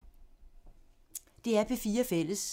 DR P4 Fælles